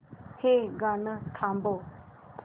हे गाणं थांबव